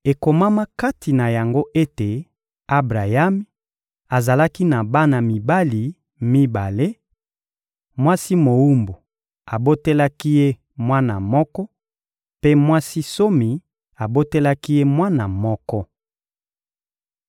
Ekomama kati na yango ete Abrayami azalaki na bana mibali mibale: mwasi mowumbu abotelaki ye mwana moko, mpe mwasi nsomi abotelaki ye mwana moko.